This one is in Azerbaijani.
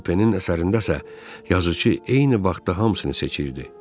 Supenin əsərindəsə, yazıçı eyni vaxtda hamısını seçirdi.